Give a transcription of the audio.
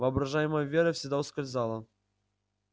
воображаемая вера всегда ускользала